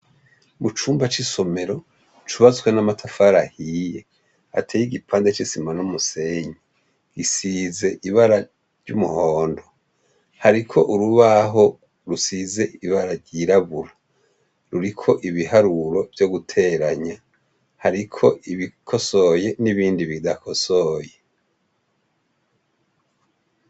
Mu cumba c'isomero, cubatswe n'amatafari ahiye, hateye igipande c'isima n'umusenyi. Isize ibara ry'umuhondo. Hariko urubaho rusize ibara ryirabura. Ruriko ibiharuro vyo guteranya. Hariko ibikosoye n'ibindi bidakosoye.